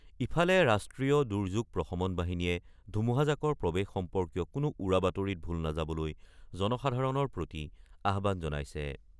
ইফালে ৰাষ্ট্ৰীয় দুৰ্যোগ প্ৰশমন বাহিনীয়ে ধুমুহাজাকৰ প্ৰৱেশ সম্পৰ্কীয় কোনো উৰাবাতৰিত ভোল নাযাবলৈ জনসাধাৰণৰ প্ৰতি আহ্বান জনাইছে।